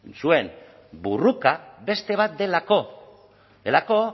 zuen borroka beste bat delako delako